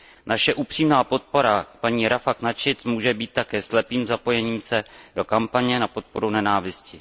Naše upřímná podpora paní Rafah Nachedové může být také slepým zapojením se do kampaně na podporu nenávisti.